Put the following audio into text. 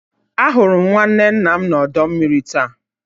Ahụrụ m nwanne nna m na ọdọ mmiri taa.